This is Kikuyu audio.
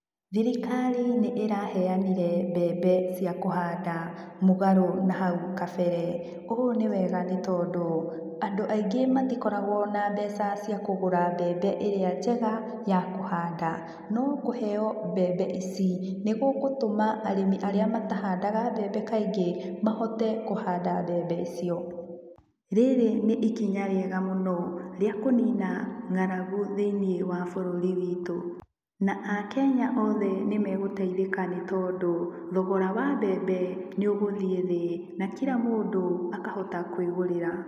Thirikari nĩ ĩraheanire mbembe cia kũhanda mũgarũ na hau kabere, ũguo nĩ wega nĩtondu andũ aingĩ matikoragwo na mbeca cia kũgura mbembe ĩrĩa njega ya kũhanda no kũheo mbembe ici nĩgũgũtũma arĩmi arĩa matahandaga mbembe kaingĩ mahote kũhanda mbembe icio, rĩrĩ nĩ ikinya rĩega mũno rĩa kũnina ngaragu thĩinĩ wa bũrũri witũ. Na akenya othe nĩmegũteithĩka nĩ tondũ thogora wa mbembe nĩ ũgũthiĩ thĩ na kira mũndũ akahota kwigũrĩra.